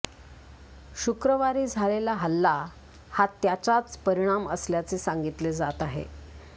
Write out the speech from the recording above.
शुक्रवारी झालेला हल्ला हा त्याचाच परिणाम असल्याचे सांगितले जात आहे